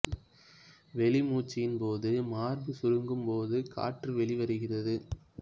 வெளி மூச்சின் போது மார்பு சுருங்கும் போது காற்று வெளிவருகிறது